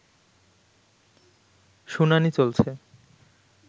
শুনানি চলছে